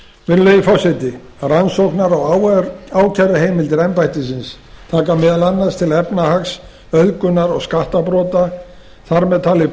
virðulegi forseti rannsóknar og ákæruheimildir embættisins taka meðal annars til efnahags auðgunar og skattabrota þar með talið